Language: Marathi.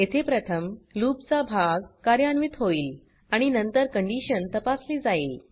येथे प्रथम लूप चा भाग कार्यान्वित होईल आणि नंतर कंडीशन तपासली जाईल